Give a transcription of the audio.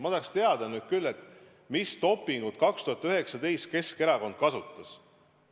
Ma tahaks teada, mis dopingut aastal 2019 Keskerakond kasutas.